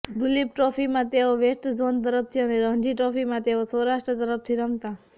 દુલીપ ટ્રોફીમાં તેઓ west zone તરફથી અને રણજી ટ્રોફીમાં તેઓ સૌરાષ્ટ્ર તરફથી રમતા